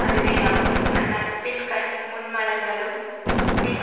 அதுவேயாகும் அந்நட்பின்கண் முன் மலர்ந்தலும் பின்